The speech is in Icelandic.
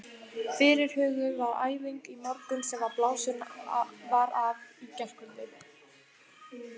Fyrirhuguð var æfing í morgun sem blásin var af í gærkvöldi.